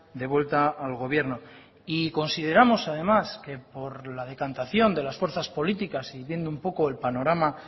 devuelta al gobierno y consideramos además que por la decantación de las fuerzas políticas y viendo un poco el panorama